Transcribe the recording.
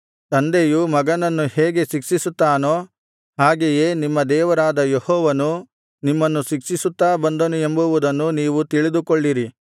ತಂದೆಯು ಮಗನನ್ನು ಹೇಗೆ ಶಿಕ್ಷಿಸುತ್ತಾನೋ ಹಾಗೆಯೇ ನಿಮ್ಮ ದೇವರಾದ ಯೆಹೋವನು ನಿಮ್ಮನ್ನು ಶಿಕ್ಷಿಸುತ್ತಾ ಬಂದನು ಎಂಬುವುದನ್ನು ನೀವು ತಿಳಿದುಕೊಳ್ಳಿರಿ